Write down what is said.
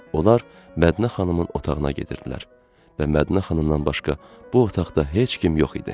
Onlar Mədinə xanımın otağına gedirdilər və Mədinə xanımdan başqa bu otaqda heç kim yox idi.